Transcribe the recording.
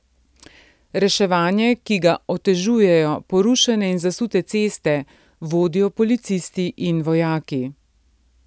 Reševanje, ki ga otežujejo porušene in zasute ceste, vodijo policisti in vojaki.